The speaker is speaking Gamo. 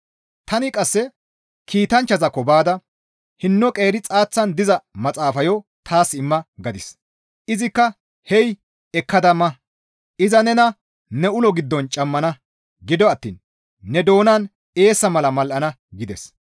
Tani qasse kiitanchchazaakko baada, «Hinno qeeri xaaththan diza maxaafayo taas imma» gadis. Izikka, «Hey ekkada ma! Iza nena ne ulo giddon cammana; gido attiin ne doonan eessa mala mal7ana» gides.